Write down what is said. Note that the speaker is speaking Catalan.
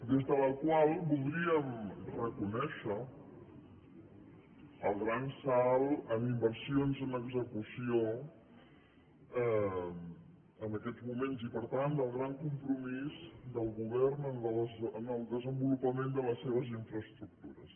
des de la qual voldríem reconèixer el gran salt en inversions en execució en aquests moments i per tant el gran compromís del govern en el desenvolupament de les seves infraestructures